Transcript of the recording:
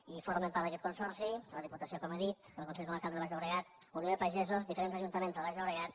i formen part d’aquest consorci la diputació com he dit el consell comarcal del baix llobregat unió de pagesos diferents ajuntaments del baix llobregat